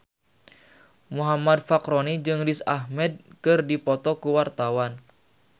Muhammad Fachroni jeung Riz Ahmed keur dipoto ku wartawan